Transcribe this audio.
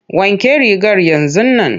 Wanke rigar yanzun nan!